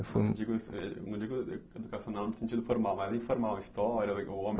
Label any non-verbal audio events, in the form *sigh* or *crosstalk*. Eu não digo e não digo educacional no sentido formal, mas informal, história, ou *unintelligible*